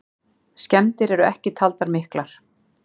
Skemmdir eru ekki taldar miklar.